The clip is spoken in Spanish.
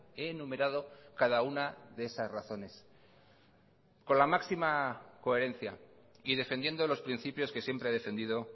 enumerado cada una de esas razones con la máxima coherencia y defendiendo los principios que siempre ha defendido